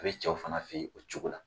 A bɛ cɛw fana fɛ yen o cogo la.